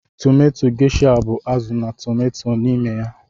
Tomato Gesha bu azụ na tomato n'ime ya.